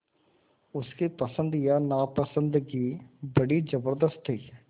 उसकी पसंद या नापसंदगी बड़ी ज़बरदस्त थी